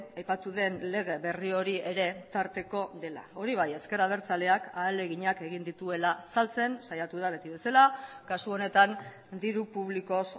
aipatu den lege berri hori ere tarteko dela hori bai ezker abertzaleak ahaleginak egin dituela saltzen saiatu da beti bezala kasu honetan diru publikoz